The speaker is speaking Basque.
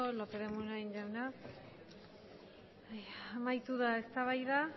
lópez de munain jauna amaitu da eztabaida